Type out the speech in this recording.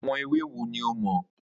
Àwo̩n ewì wo ni o mò̩?